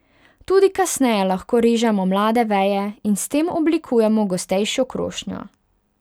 Tudi kasneje lahko režemo mlade veje in s tem oblikujemo gostejšo krošnjo.